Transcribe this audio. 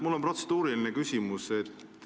Mul on protseduuriline küsimus.